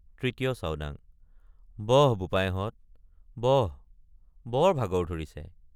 ৩য় চাওডাং—বহ বোপাইহঁত বহ বৰ ভাগৰ ধৰিছে।